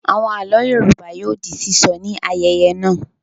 Àwọn àlọ́ Yorùbá yóò di sísọ ní ayẹyẹ náà.